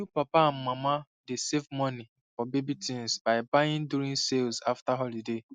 new papa and mama dey save money for baby things by buying during sales after holiday